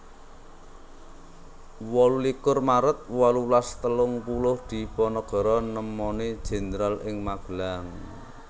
wolu likur maret wolulas telung puluh Diponegoro nemoni Jenderal ing Magelang